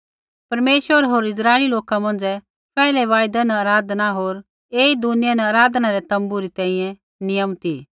परमेश्वर होर इस्राइली लोका मौंझ़ै पैहलै वायदै न आराधना होर ऐई दुनिया न आराधना रै तोम्बू री तैंईंयैं नियम ती